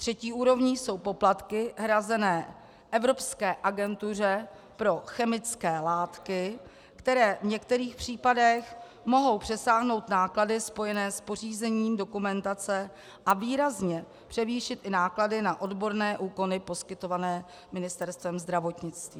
Třetí úrovní jsou poplatky hrazené Evropské agentuře pro chemické látky, které v některých případech mohou přesáhnout náklady spojené s pořízením dokumentace a výrazně převýšit i náklady na odborné úkony poskytované Ministerstvem zdravotnictví.